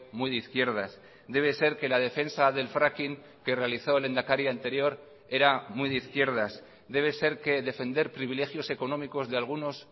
muy de izquierdas debe ser que la defensa del fracking que realizó el lehendakari anterior era muy de izquierdas debe ser que defender privilegios económicos de algunos